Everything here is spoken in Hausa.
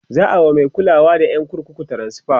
za'a wa Mai kulawa da ƴan kurkukun transfa